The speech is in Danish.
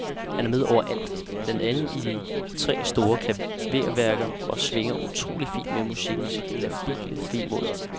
Han er med overalt, blandt andet i tre store klaverværker, og svinger utrolig fint med musikkens labile vemod.